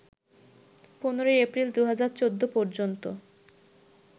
১৫ April ২০১৪ পর্যন্ত